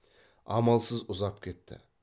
амалсыз ұзап кетті